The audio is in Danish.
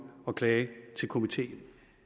og klage til komiteen